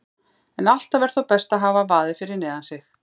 En alltaf er þó best að hafa vaðið fyrir neðan sig.